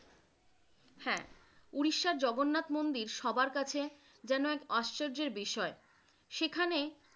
হ্যা, ওড়িশার জগন্নাথ মন্দির সবার কাছে জেনো এক আশ্চর্যের বিষয় সেখানে